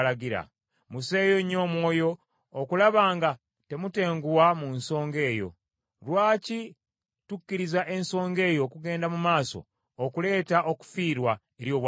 Musseeyo nnyo omwoyo okulaba nga temutenguwa mu nsonga eyo. Lwaki tukkiriza ensonga eyo okugenda mu maaso, okuleeta okufiirwa eri obwakabaka?